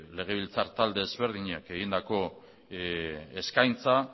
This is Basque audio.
legebiltzar talde ezberdinek egindako eskaintza